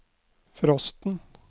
frosten